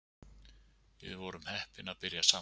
Við vorum heppin að byrja saman